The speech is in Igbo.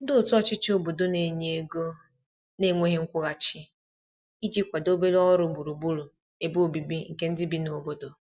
ndi otu ochichi obodo n'enye ego na nweghi nkwuhachi iji kwado obere ọrụ gburugburu ebe ọbìbi nke ndi bi n'obodo